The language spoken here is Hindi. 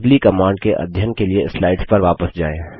अगली कमांड के अध्ययन के लिए स्लाइड्स पर वापस जाएँ